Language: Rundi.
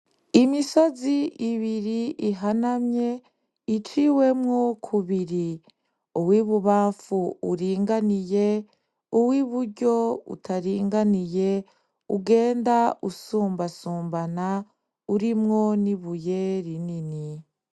Imisozi ibiri ihanamye iciwemwo kubiri uw'ibubamfu uringaniye, uw'iburyo utaringaniye ugenda usumbasumbana urimwo n'ibuye rinini.